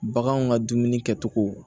Baganw ka dumuni kɛcogo